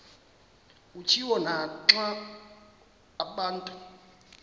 kutshiwo naxa abantu